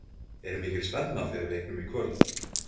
Er mikil spenna fyrir leiknum í kvöld?